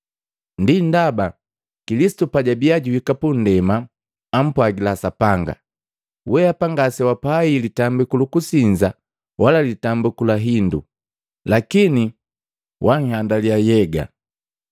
Ndi ndaba Kilisitu pajabiya juhika pundema, ampwagila Sapanga: “Weapa ngasewapai litambiku lukusinza wala litambiku la hindu, lakini wanhandaliya nhyega.